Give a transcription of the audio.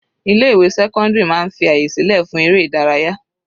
Ilé ìwé sẹ́cọ́ndírì máa ń fi àyè sílẹ̀ fún eré ìdárayá.